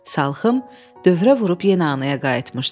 Salxım dövrə vurub yenə anaya qayıtmışdı.